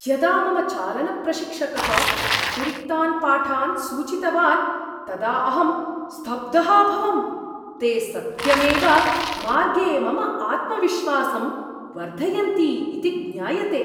यदा मम चालनप्रशिक्षकः अतिरिक्तान् पाठान् सूचितवान् तदा अहं स्तब्धः अभवम्, ते सत्यमेव मार्गे मम आत्मविश्वासं वर्धयन्ति इति ज्ञायते।